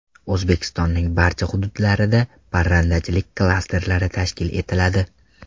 O‘zbekistonning barcha hududlarida parrandachilik klasterlari tashkil etiladi.